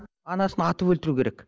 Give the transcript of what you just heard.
анасын атып өлтіру керек